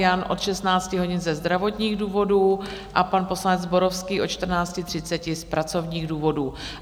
Jan od 16 hodin ze zdravotních důvodů a pan poslanec Zborovský od 14.30 z pracovních důvodů.